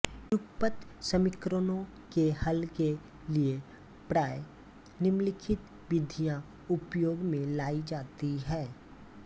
युगपत समीकरणों के हल के लिये प्राय निम्नलिखित विधियाँ उपयोग में लायी जाती हैं